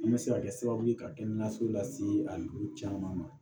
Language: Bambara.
An bɛ se ka kɛ sababu ye ka kɛnɛyaso lase an dugu caman ma